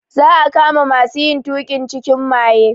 Za a kama masu yin tuƙin cikin maye.